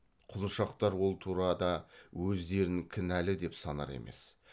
құлыншақтар ол турада өздерін кінәлы деп санар емес